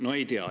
No ei tea.